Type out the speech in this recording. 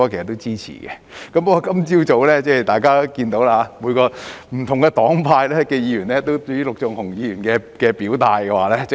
然而，今天早上，大家也看到，不同黨派的議員，尤其是陸頌雄議員，皆表達了許多不同的意見。